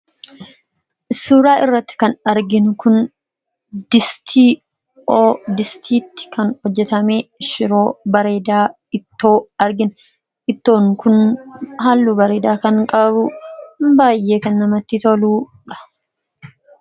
suuraa irratti kan arginu kun distii oo distiitti kan hojjetamee shiroo bareedaa ittoo argina ittoon kun haallu bareedaa kan qaabu baayyee kan namatti toluudha.